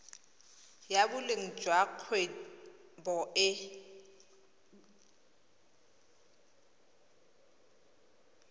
ya boleng jwa kgwebo e